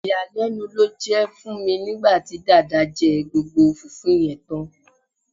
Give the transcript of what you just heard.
Ìyàlénu ló jé fun mi nígbàtí Dàda jé gbogbo fùfú yen tán